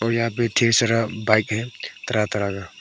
यहां भी ढेर सारा बाइक है तरह तरह का।